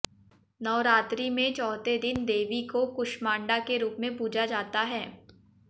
नवरात्रि में चौथे दिन देवी को कूष्मांडा के रूप में पूजा जाता है